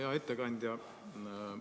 Hea ettekandja!